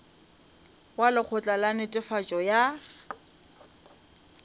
wa lekgotla la netefatšo ya